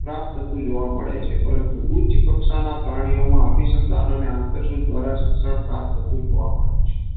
પ્રાપ્ત થતું જોવા મળે છે. પરંતુ ઉચ્ચ કક્ષાના પ્રાણીઓમાં અભી સન્ધાન અને આંતર દ્વારા શિક્ષણ જોવા મળે છે.